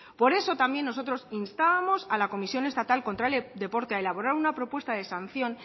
por eso también nosotros instábamos a la comisión estatal contra el deporte a elaborar una propuesta de sanción